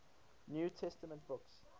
new testament books